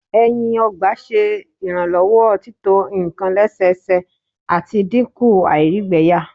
ẹyin ọgba ṣe iranlọwọ tito nkan lẹsẹsẹ, ati dinku àìrígbẹyà